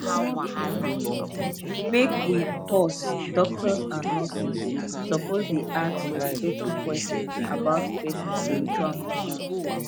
make we pause doctors and nurses suppose dey ask respectful questions about person spiritual matter